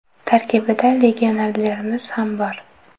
Tarkibda legionerlarimiz ham bor.